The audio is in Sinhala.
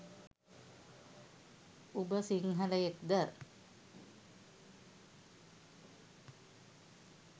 උබ සිංහලයෙක්ද